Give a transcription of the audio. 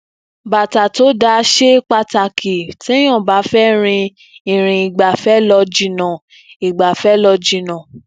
bàtà tó dáa ṣe pàtàkì téèyàn bá fẹ rin irin igbafẹ lọ jìnnà igbafẹ lọ jìnnà